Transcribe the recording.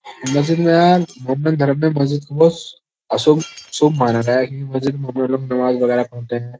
मस्जिद में यार मुंडन धर्म में मस्जिद को अशुभ शुभ माना गया है क्योकिं मस्जिद में नमाज वगेरा पढ़ते हैं।